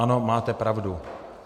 Ano, máte pravdu.